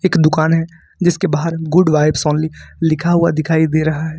एक दुकान है जिसके बाहर गुड वाइव्स ओनली लिखा हुआ दिखाई दे रहा है।